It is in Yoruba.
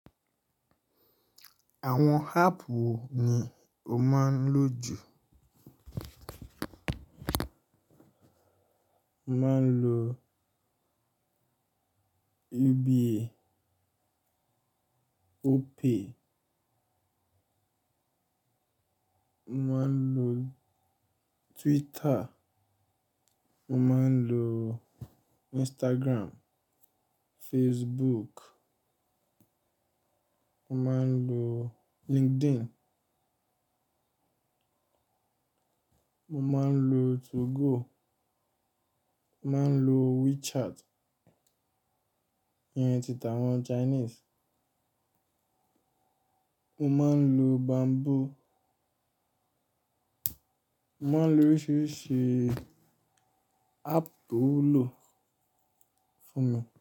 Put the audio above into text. Àwọn app wo ni o máa ń lò jù? Mo máa ń lo UBA, Opay, mo máa ń lo Twitter, mo máa ń lo Instagram, Facebook, mo máa ń lo LinkedIn, mo máa ń lo 2Go, mo máa ń lo WeChat, ìyẹn ti tàwọn Chinese, mo máa ń lo Bamboo, mo máa ń lo oríṣiríṣi app tó wúlò fún mi.